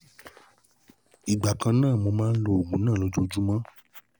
Ìgbà kan náà ni mo máa ń lo oògùn náà lójoojúmọ́